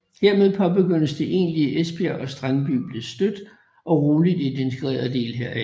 Hermed påbegyndtes det egentlige Esbjerg og Strandby blev stødt og roligt en integreret del heraf